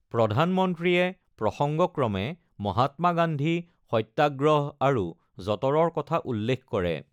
প্ৰধানমন্ত্ৰীয়ে প্ৰসংগক্ৰমে মহাত্মা গান্ধী, সত্যাগ্ৰহ আৰু যঁতৰৰ কথা উল্লেখ কৰে।